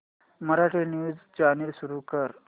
Marathi news channel सुरू कर